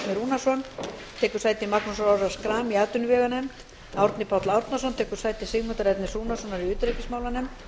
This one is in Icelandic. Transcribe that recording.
rúnarsson tekur sæti magnúsar orra schram í atvinnuveganefnd árni páll árnason tekur sæti sigmundar ernis rúnarssonar í utanríkismálanefnd